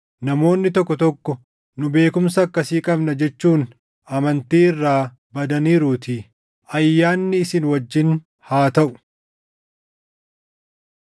namoonni tokko tokko, “Nu beekumsa akkasii qabna” jechuun amantii irraa badaniiruutii. Ayyaanni isin wajjin haa taʼu.